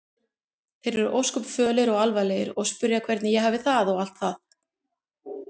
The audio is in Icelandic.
Þeir eru ósköp fölir og alvarlegir og spyrja hvernig ég hafi það og allt það.